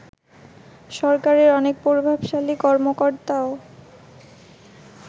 সরকারের অনেক প্রভাবশালী কর্মকর্তাও